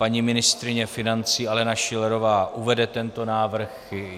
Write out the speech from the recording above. Paní ministryně financí Alena Schillerová uvede tento návrh.